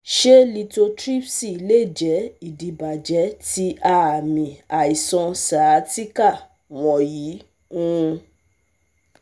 Ṣe lithotripsy lè jẹ́ idibàjẹ ti aami aiṣan sciatica wọnyi um